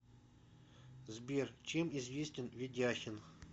сбер чем известен ведяхин